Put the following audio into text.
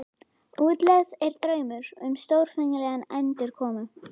Útlegð er draumur um stórfenglega endurkomu.